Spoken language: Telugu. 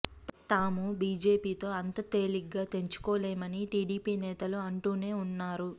తాము బిజెపితో అంత తేలిగ్గా తెంచుకోలేమని టిడిపి నేతలు అంటూనే వున్నారు